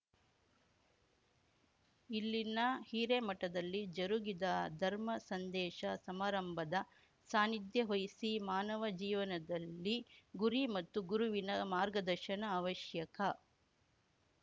ಇಲ್ಲಿನ ಹಿರೇಮಠದಲ್ಲಿ ಜರುಗಿದ ಧರ್ಮ ಸಂದೇಶ ಸಮಾರಂಭದ ಸಾನ್ನಿಧ್ಯ ವಹಿಸಿ ಮಾನವ ಜೀವನದಲ್ಲಿ ಗುರಿ ಮತ್ತು ಗುರುವಿನ ಮಾರ್ಗದರ್ಶನ ಅವಶ್ಯಕ